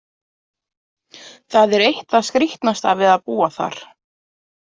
Það er eitt það skrítnasta við að búa þar.